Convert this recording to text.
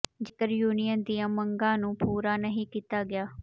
ਜੇਕਰ ਯੂਨੀਅਨ ਦੀਆਂ ਮੰਗਾਂ ਨੂੰ ਪੂਰਾ ਨਹੀਂ ਕੀਤਾ ਗਿਆ